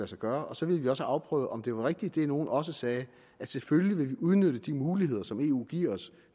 sig gøre så ville vi også afprøve om det var rigtigt hvad nogen også sagde at selvfølgelig vil man udnytte de muligheder som eu giver os